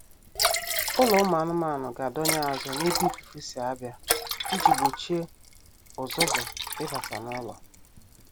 Ụlọ ụmụ anụmanụ ga-adọnye azụ n'ebe ifufe si abịa iji gbochie ụzụzụ ịbata n'ụlọ